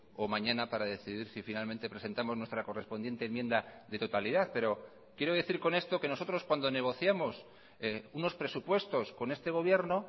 o mañana para decidir si finalmente presentamos nuestra correspondiente enmienda de totalidad pero quiero decir con esto que nosotros cuando negociamos unos presupuestos con este gobierno